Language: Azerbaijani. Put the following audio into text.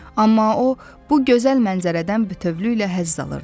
Amma o, bu gözəl mənzərədən bütövlükdə həzz alırdı.